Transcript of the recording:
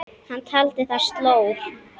Hann taldi það slór.